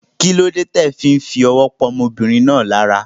Kílódé ti o fí n fowó pa ọmọbìnrin náà lára